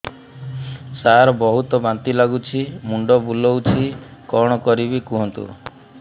ସାର ବହୁତ ବାନ୍ତି ଲାଗୁଛି ମୁଣ୍ଡ ବୁଲୋଉଛି କଣ କରିବି କୁହନ୍ତୁ